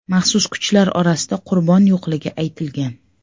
Maxsus kuchlar orasida qurbon yo‘qligi aytilgan.